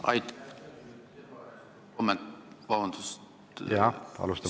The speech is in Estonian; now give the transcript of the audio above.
Jürgen Ligi, palun!